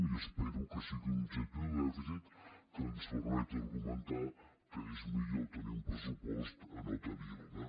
i espero que sigui un objectiu de dèficit que ens permeti argumentar que és millor tenir un pressupost a no tenir ne